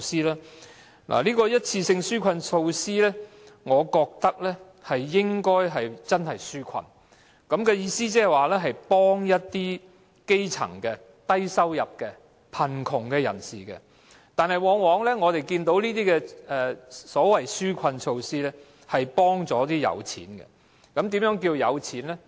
對於一次性紓困措施，我覺得這些措施應該真的用作紓困，意思是幫助一些基層的、低收入的或貧窮人士，但我們往往看到的是，這些所謂紓困措施只是幫助有錢人。